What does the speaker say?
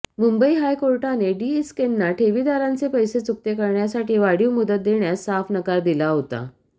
मुंबई हायकोर्टाने डीएसकेंना ठेवीदारांचे पैसे चुकते करण्यासाठी वाढीव मुदत देण्यास साफ नकार दिला होता